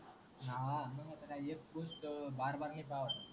हा आता काय एक गोष्ट नाय पाहावीत